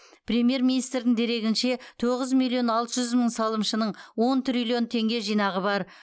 премьер министрдің дерегінше тоғыз миллион алты жүз мың салымшының он триллион теңге жинағы бар